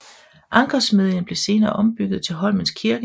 Ankersmedjen blev senere ombygget til Holmens Kirke